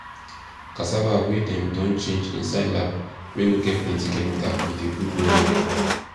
cassava wey dem don change inside lab wey no get plenty chemical e de good well well